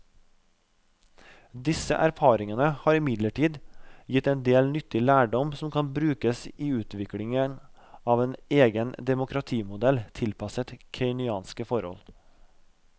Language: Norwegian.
Disse erfaringene har imidlertid gitt en del nyttig lærdom som kan brukes i utviklingen av en egen demokratimodell tilpasset kenyanske forhold.